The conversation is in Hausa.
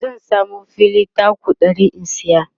zan samu fili taku 100 in saya